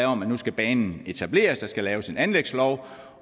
om at nu skal banen etableres der skal laves en anlægslov